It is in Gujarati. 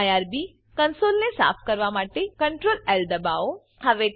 આઇઆરબી કંસોલને સાફ કરવા માટે Ctrl એલ દબાઓ